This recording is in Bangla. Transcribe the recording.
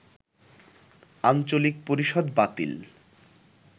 আঞ্চলিক পরিষদ বাতিল